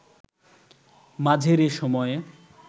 মাঝের এ সময়ে